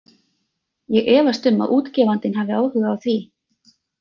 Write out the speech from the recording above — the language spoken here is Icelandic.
Ég efast um að útgefandinn hafi áhuga á því.